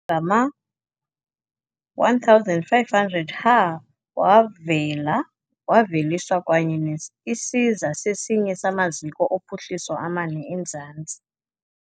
ngama-1500ha wavela waveliswa, kwaye isiza sesinye samaziko ophuhliso amane emzantsi afrika.